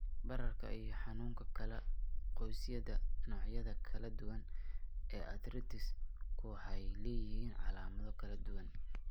Bararka iyo Xanuunka Kala-goysyada Noocyada kala duwan ee arthritis-ku waxay leeyihiin calaamado kala duwan.